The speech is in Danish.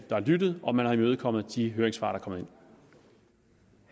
der er lyttet og man har imødekommet de høringssvar